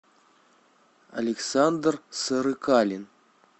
александр сырыкалин